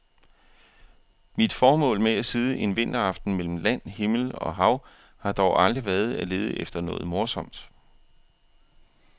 Mit formål med at sidde en vinteraften mellem land, himmel og hav har dog aldrig været at lede efter noget morsomt.